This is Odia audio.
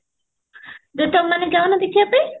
ବେ ତମେ ମାନେ ଯୌନ ଦେଖିବା ପାଇଁ?